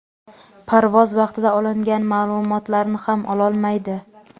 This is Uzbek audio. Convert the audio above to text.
parvoz vaqtida olingan ma’lumotlarni ham ololmaydi.